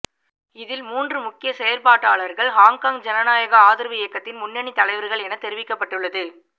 இதில் மூன்று முக்கிய செயற்பாட்டாளர்கள் ஹொங்காங் ஜனநாயக ஆதரவு இயக்கத்தின் முன்னணி தலைவர்கள் எனத் தெரிவிக்கப்பட்டுள்ளது